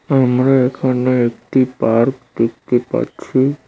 আমরা এখানে একটি পার্ক দেখতে পাচ্ছি।